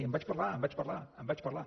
en vaig parlar en vaig parlar en vaig parlar